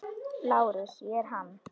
LÁRUS: Ég er hann.